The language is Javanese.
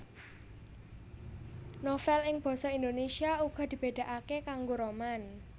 Novèl ing basa Indonèsia uga dibedakake karo roman